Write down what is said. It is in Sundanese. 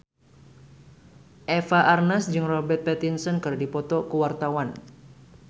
Eva Arnaz jeung Robert Pattinson keur dipoto ku wartawan